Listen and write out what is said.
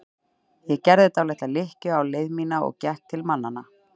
Ég gerði því dálitla lykkju á leið mína og gekk til mannanna.